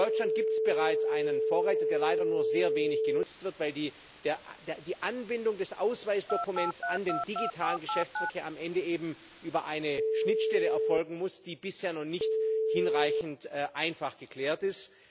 In Deutschland gibt es bereits einen Vorreiter, der leider nur sehr wenig genutzt wird, weil die Anbindung des Ausweisdokuments an den digitalen Geschäftsverkehr am Ende über eine Schnittstelle erfolgen muss, die bisher noch nicht hinreichend einfach geklärt ist.